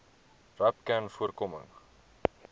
rapcanvoorkoming